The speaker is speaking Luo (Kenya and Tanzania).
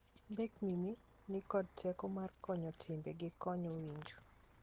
Mbekni ni kod teko mar konyo timbe gi konyo winjo.